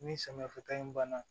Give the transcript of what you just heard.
Ni samiya fo ta in banna